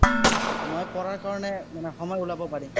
মই পঢ়াৰ কাৰণে, মানে সময় ওলাব পাৰিম।